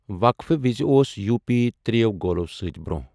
وقفہٕ وِزِ اوس یو پی ترٛ٘یٮ۪و گولو سۭتۍ برونہہ ۔